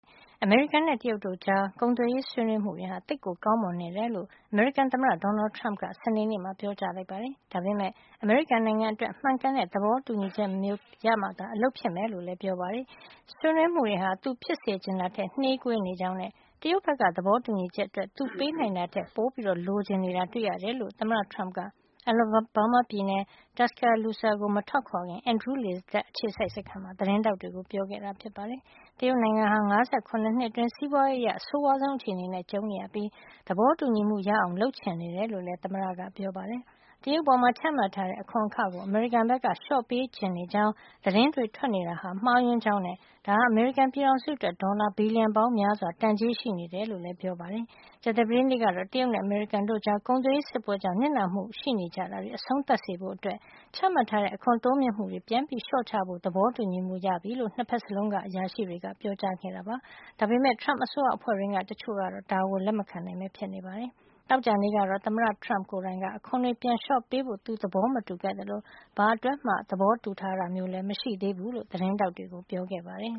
အမေရိကန်နဲ့ တရုတ်တို့ကြား ကုန်သွယ်ရေးဆွေးနွေးမှုတွေဟာ သိပ်ကိုကောင်းမွန်နေတယ်လို့ အမေရိကန်သမ္မတ Donald Trump က စနေနေ့မှာ ပြောကြားလိုက်ပါတယ်။ ဒါပေမယ့် အမေရိကန်နိုင်ငံအတွက် မှန်ကန်တဲ့ သဘောတူညီချက်မျိုး ရမှသာ အလုပ်ဖြစ်မယ်လို့လည်း ပြောပါတယ်။ ဆွေးနွေးမှုတွေဟာ သူဖြစ်စေချင်တာထက် နှေးကွေးနေကြောင်းနဲ့ တရုတ်ဘက်က သဘောတူညီချက်အတွက် သူပေးနိုင်တာထက် ပိုလိုချင်နေတာ တွေ့ရတယ်လို့ သမ္မတ Trump က Alabama ပြည်နယ် Tuscaloosa ကို မထွက်ခွာခင် Andrew လေတပ်အခြေစိုက်စခန်းမှာ သတင်းထောက်တွေကို ပြောခဲ့တာဖြစ်ပါတယ်။ တရုတ်နိုင်ငံဟာ ၅၇ နှစ်အတွင်း စီးပွားရေးအရ အဆိုးဝါးဆုံး အခြေအနေနဲ့ ကြုံနေရပြီး သဘောတူညီမှုရအောင် လုပ်ချင်နေတယ်လို့လည်း ပြောပါတယ်။ တရုတ်အပေါ် ချမှတ်ထားတဲ့ အခွန်အခကို အမေရိကန်ဘက်က လျှော့ပေးချင်နေကြောင်း သတင်းတွေ ထွက်နေတာဟာ မှားယွင်းကြောင်းနဲ့ ဒါဟာ အမေရိကန်ပြည်ထောင်စုအတွက် ဒေါ်လာ ဘီလီယံပေါင်းများစွာ တန်ကြေးရှိနေကြောင်းလည်း ပြောပါတယ်။ ကြာသပတေးနေ့ကတော့ တရုတ်နဲ့ အမေရိကန်တို့ကြား ကုန်သွယ်ရေးစစ်ပွဲကြောင့် နစ်နာမှုရှိနေကြတာတွေ အဆုံးသတ်စေဖို့အတွက် ချမှတ်ထားတဲ့ အခွန်တိုးမြှင့်မှုတွေကို ပြန်လျှော့ချဖို့ သဘောတူညီမှုရကြောင်း နှစ်ဖက်စလုံးက အရာရှိတွေက ပြောခဲ့တာပါ။ ဒါပေမယ့် Trump အစိုးရအဖွဲ့တွင်းက တချို့ကတော့ ဒါကို လက်မခံနိုင်ဘဲ ဖြစ်နေတာပါ။ သောကြာနေ့ကတော့ သမ္မတ Trump က အခွန်တွေ ပြန်လျှော့ပေးဖို့ သူသဘောမတူခဲ့သလို ဘာအတွက်မှ သဘောတူထားတာလည်း မရှိသေးဘူးလို့ သတင်းထောက်တွေကို ပြောခဲ့ပါတယ်